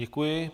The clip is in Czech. Děkuji.